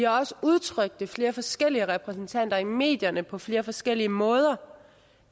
også udtrykt ved flere forskellige repræsentanter i medierne på flere forskellige måder